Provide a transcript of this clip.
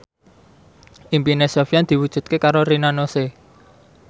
impine Sofyan diwujudke karo Rina Nose